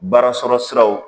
Baarasɔrɔ siraw